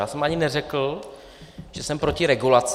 Já jsem ani neřekl, že jsem proti regulaci.